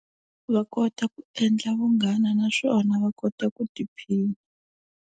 Va kota ku endla vunghana naswona va kota ku tiphina.